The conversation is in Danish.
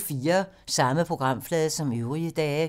Samme programflade som øvrige dage